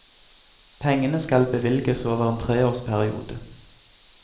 Pengene skal bevilges over en treårsperiode.